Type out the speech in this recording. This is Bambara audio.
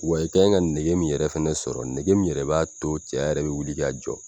Wa i ka kan ka nege min yɛrɛ fɛnɛ sɔrɔ, nege min yɛrɛ b'a to cɛya yɛrɛ bɛ wuli k'a jɔ.